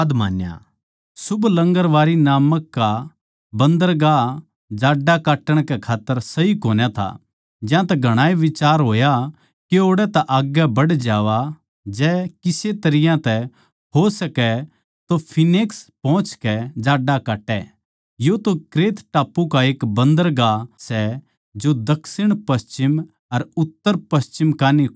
शुभ लंगरबारी नाम का बंदरगाह जाड्डा काटण कै खात्तर सही कोनी था ज्यांतै घणाए का बिचार होया के ओड़ै तै आग्गै बढ़ जावां जै किसे तरियां तै हो सकै तो फीनिक्स पोहचकै जाड्डा काटै यो तो क्रेते टापू का एक बंदरगाह सै जो दक्षिणपश्चिम अर उत्तरपश्चिम कै कान्ही नै खुलै सै